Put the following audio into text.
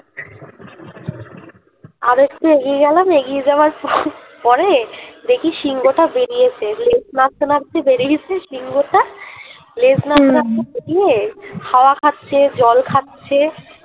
আরেকটু এগিয়ে গেলাম এগিয়ে যাওয়ার পরে দেখি সিংহ টা বেড়িয়েছে লেজ নাড়তে নাড়তে বেরিয়েছে সিংহ টা লেজ নাড়তে নাড়তে বেরিয়ে হাওয়া খাচ্ছে জল খাচ্ছে